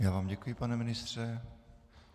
Já vám děkuji, pane ministře.